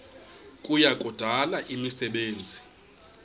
kuya kudala imisebenzi